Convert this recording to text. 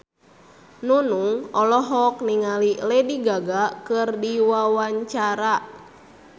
Nunung olohok ningali Lady Gaga keur diwawancara